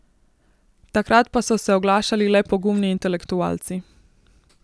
Takrat pa so se oglašali le pogumni intelektualci.